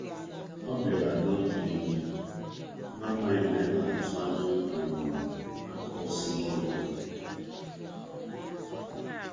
Ọ bịarutere um na oge nri abalị, na-amaghị kpamkpam um anyị na-atụ anya akụkọ sitere n'ụlọ ọgwụ.